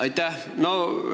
Aitäh!